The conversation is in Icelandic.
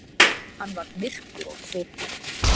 Hann varð myrkur á svipinn.